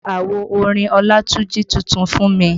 Ra àwo orin Olatunji tuntun fún mi